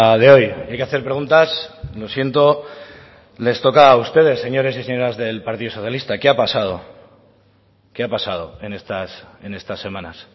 de hoy hay que hacer preguntas lo siento les toca a ustedes señores y señoras del partido socialista qué ha pasado qué ha pasado en estas semanas